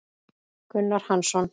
Gunnar Hansson